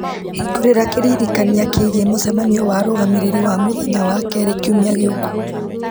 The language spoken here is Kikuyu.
hĩngũrĩra kĩririkania kĩgiĩ mũcemanio wa arũgamĩrĩri wa mũthenya wa kerĩ kiumia gĩũku